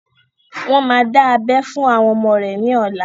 Wọn má dá abẹ fún àwọn ọmọ rẹ ni ọ̀la.